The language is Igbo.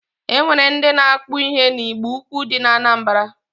E nwere ndị na-akpụ ihe na Igboukwu dị na Anambara.